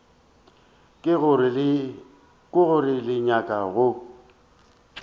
ke gore le nyaka go